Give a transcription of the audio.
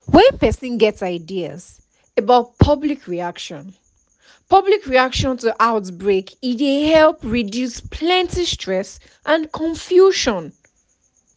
when person get ideas about public reaction public reaction to outbreak e dey help reduce plenty stress and confusion